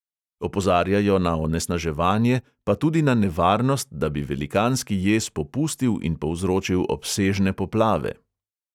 Opozarjajo na onesnaževanje, pa tudi na nevarnost, da bi velikanski jez popustil in povzročil obsežne poplave.